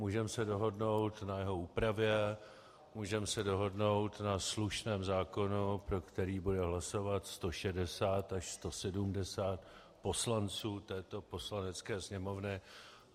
Můžeme se dohodnout na jeho úpravě, můžeme se dohodnout na slušném zákonu, pro který bude hlasovat 160 až 170 poslanců této Poslanecké sněmovny.